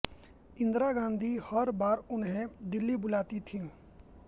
इंदिरा गांधी हर बार उन्हें दिल्ली बुलाती थीं